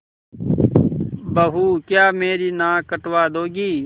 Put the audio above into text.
बहू क्या मेरी नाक कटवा दोगी